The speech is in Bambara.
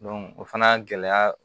o fana gɛlɛya